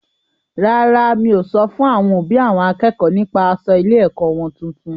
Rárá, mi o sọ fún àwọn òbí àwọn akẹ́kọ̀ọ́ nípa aṣọ ilé-ẹ̀kọ́ wọn tuntun.